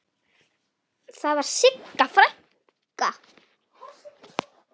Og þar var Sigga frænka.